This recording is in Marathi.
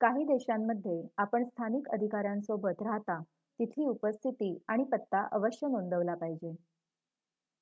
काही देशांमध्ये आपण स्थानिक अधिकाऱ्यांसोबत राहता तिथली उपस्थिती आणि पत्ता अवश्य नोंदवला पाहिजे